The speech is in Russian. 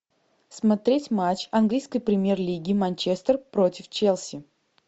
смотреть матч английской премьер лиги манчестер против челси